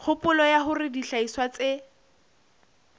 kgopolo ya hore dihlahiswa tse